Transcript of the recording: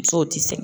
Musow ti se